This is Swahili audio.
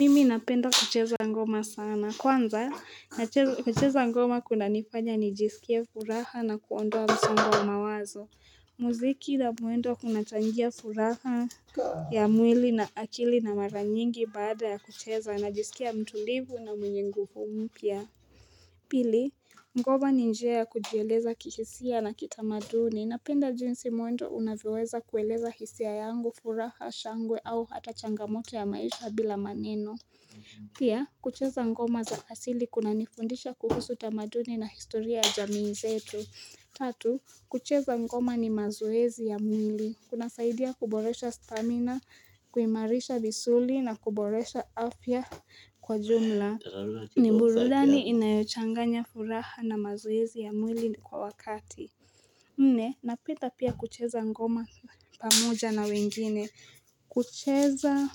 Mimi napenda kucheza ngoma sana kwanza kucheza ngoma kuna nifanya nijisikie furaha na kuondoa msongo mawazo Muziki na muendo kunachangia furaha ya mwili na akili na mara nyingi baada ya kucheza najisikia mtulivu na mwenye nguvu mpya Pili, mgoma ni njia ya kujieleza kihisia na kitamaduni napenda jinsi mwendo unavyoweza kueleza hisia yangu, furaha, shangwe au hata changamoto ya maisha bila maneno. Pia, kucheza mgoma za asili kuna nifundisha kuhusu tamaduni na historia jamii zetu. Tatu, kucheza mgoma ni mazoezi ya mwili. Kuna saidia kuboresha stamina, kuimarisha misuli na kuboresha afya kwa jumla. Ni burudani inayochanganya furaha na mazoezi ya mwili kwa wakati nne, napenda pia kucheza ngoma pamoja na wengine kucheza